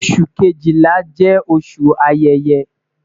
Oṣu kejila jẹ oṣu ayẹyẹ